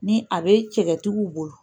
Ni a bɛ cɛkɛtigiw bolo.